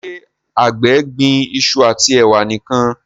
ṣe àgbè gbìn iṣu ati ewa nìkàn?